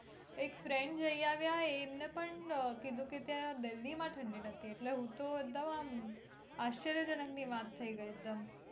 એક friend જય આવ્યા આવેલા એમના અમ પણ કીધું કે ત્યાં delhi માં ઠંડી નથી એટલે હું તો એકદમ આમ આશ્ચર્યજનક ની વાત થઇ ગઈ એકદમ